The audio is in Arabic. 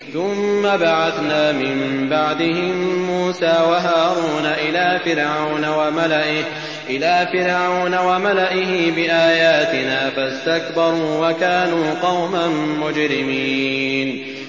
ثُمَّ بَعَثْنَا مِن بَعْدِهِم مُّوسَىٰ وَهَارُونَ إِلَىٰ فِرْعَوْنَ وَمَلَئِهِ بِآيَاتِنَا فَاسْتَكْبَرُوا وَكَانُوا قَوْمًا مُّجْرِمِينَ